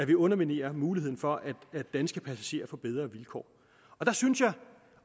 vi underminerer muligheden for at danske passagerer får bedre vilkår der synes jeg